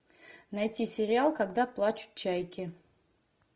найти сериал когда плачут чайки